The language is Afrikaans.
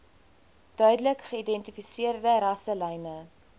duidelik geïdentifiseerde rasselyne